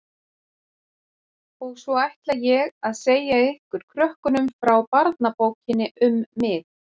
Og svo ætla ég að segja ykkur krökkunum frá barnabókinni um mig.